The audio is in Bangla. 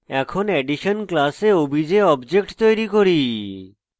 এখন addition class obj object তৈরী করি